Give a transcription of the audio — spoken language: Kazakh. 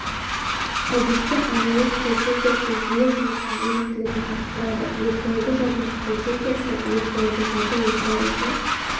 әдетте айналу стратегиясы жүйе жұмысының өнімділігін арттырады виртуалды жадының стратегиясы виртуалды жады осылар үшін